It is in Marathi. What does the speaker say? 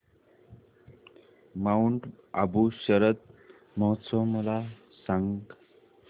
माऊंट आबू शरद महोत्सव मला सांग